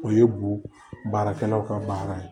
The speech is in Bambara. O ye bo baarakɛlaw ka baara ye